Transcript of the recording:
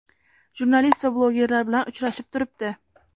jurnalist va blogerlar bilan uchrashib turibdi.